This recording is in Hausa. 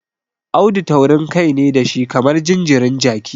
Audu taurinkai ne da shi kamar jinjirin jaki.